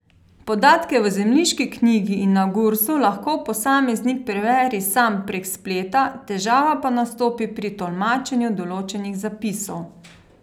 Podatke v zemljiški knjigi in na Gursu lahko posameznik preveri sam prek spleta, težava pa nastopi pri tolmačenju določenih zapisov.